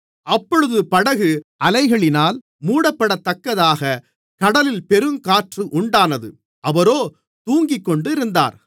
அப்பொழுது படகு அலைகளினால் மூடப்படத்தக்கதாகக் கடலில் பெருங்காற்று உண்டானது அவரோ தூங்கிக்கொண்டிருந்தார்